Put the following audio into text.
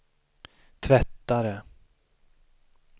tvättare